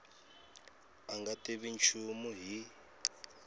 a nga tivi nchumu hi